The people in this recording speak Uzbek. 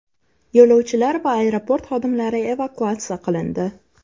Yo‘lovchilar va aeroport xodimlari evakuatsiya qilindi.